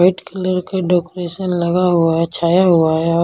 white colour का decoration लगा हुआ है छाया हुआ है और--